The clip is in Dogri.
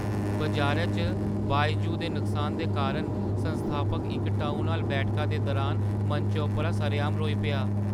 बजारै च बायजू दे नुकसान दे कारण संस्थापक इक टाउनहाल बैठका दे दुरान मंचै उप्पर सरेआम रोई पेआ।